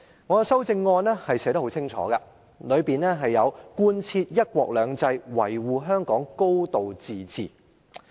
我在修正案清楚要求貫徹"一國兩制"、維護香港"高度自治"。